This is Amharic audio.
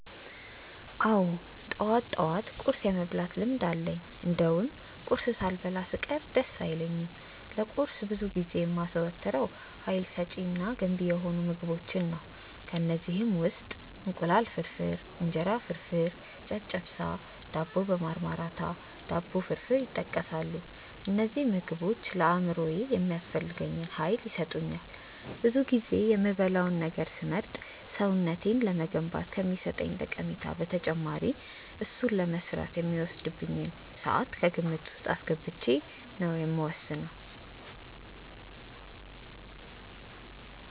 አዎ ጠዋት ጠዋት ቁርስ የመብላት ልምድ አለኝ እንደውም ቁርስ ሳልበላ ስቀር ደስ አይለኝም። ለቁርስ ብዙ ጊዜ የማዘወትረው ሀይል ሰጪ እና ገንቢ የሆኑ ምግቦችን ነው። ከእነዚህም ውስጥ እንቁላል ፍርፍር፣ እንጀራ ፍርፍር፣ ጨጨብሳ፣ ዳቦ በማርማራታ፣ ዳቦ ፍርፍር ይጠቀሳሉ። እነዚህ ምግቦች ለአእምሮዬ የሚያስፈልገኝን ያህል ሀይል ይሰጡኛል። ብዙ ጊዜ የምበላውን ነገር ስመርጥ ሰውነቴን ለመገንባት ከሚሰጠኝ ጠቀሜታ በተጨማሪ እሱን ለመስራት የሚወስድብኝን ስዓት ከግምት ውስጥ አስገብቼ ነው የምወስነው።